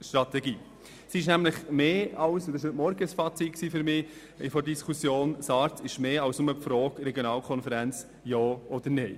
SARZ ist mehr, und dies war heute Vormittag mein Fazit, als nur die Frage Regionalkonferenz Ja oder Nein.